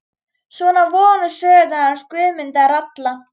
Svona voru nú sögurnar hans Guðmundar ralla.